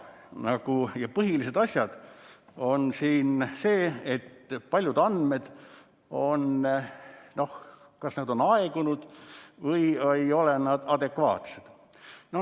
Põhilised asjad on siin aga need, et paljud andmed on kas aegunud või ei ole adekvaatsed.